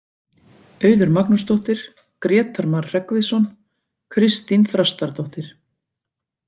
Auður Magnúsdóttir, Grétar Mar Hreggviðsson, Kristín Þrastardóttir.